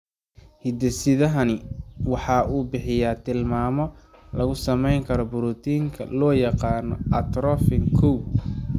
Hidde-sidahani waxa uu bixiyaa tilmaamo lagu samaynayo borotiinka loo yaqaan atrophin kow.